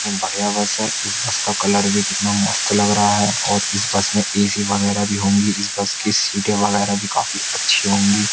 कितनी बढ़िया बस है। इस बस का कलर भी कितना मस्त लग रहा है और इस बस में ए_सी वगैरह भी होंगी। इस बस की सीटें वगैरह भी काफी अच्छी होंगी।